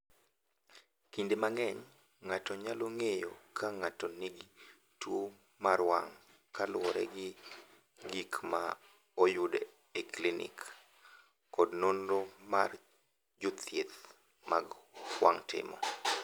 "Kinde mang’eny, ng’ato nyalo ng’eyo ka ng’ato nigi tuwo mar wang’ kaluwore gi gik ma oyud e klinik kod nonro ma jothieth mag wang’ timo."